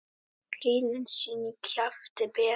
Krílin sín í kjafti bera.